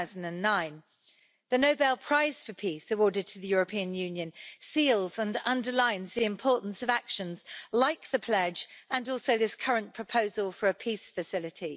2009. The Nobel Prize for Peace awarded to the European Union seals and underlines the importance of actions like the Pledge, and also this current proposal for a peace facility.